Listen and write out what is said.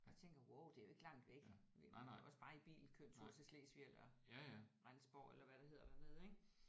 Jeg tænker wow det er jo ikke langt væk vi kan jo også bare i bil køre en tur til Slesvig eller Rendsborg eller hvad det hedder dernede ik